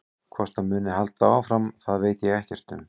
Hvort það muni halda áfram það veit ég ekkert um.